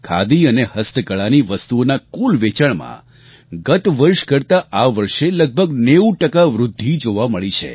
ખાદી અને હસ્તકળાની વસ્તુઓનાં કુલ વેચાણમાં ગત વર્ષ કરતા આ વર્ષે લગભગ 90 ટકા વૃદ્ધિ જોવા મળી છે